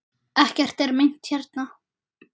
Ekkert er meint hérna.